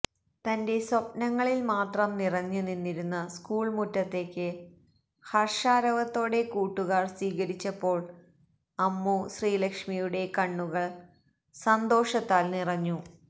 തന്റെ സ്വപ്നങ്ങളിൽ മാത്രം നിറഞ്ഞുനിന്നിരുന്ന സ്കൂൾ മുറ്റത്തേക്ക് ഹർഷാരവത്തോടെ കൂട്ടുകാർ സ്വീകരിച്ചപ്പോൾ അമ്മു ശ്രീലക്ഷ്മിയുടെ കണ്ണുകൾ സന്തോഷത്താൽ നിറഞ്ഞു